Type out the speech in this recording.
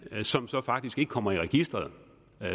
som så faktisk ikke kommer i registeret